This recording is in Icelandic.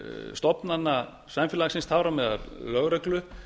stofnana samfélagsins þar á meðal lögreglu